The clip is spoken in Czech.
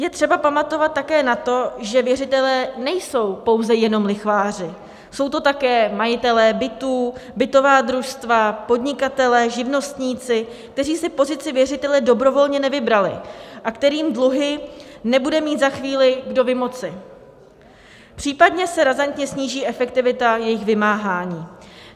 Je třeba pamatovat také na to, že věřitelé nejsou pouze jenom lichváři, jsou to také majitelé bytů, bytová družstva, podnikatelé, živnostníci, kteří si pozici věřitele dobrovolně nevybrali a kterým dluhy nebude mít za chvíli kdo vymoci, případně se razantně sníží efektivita jejich vymáhání.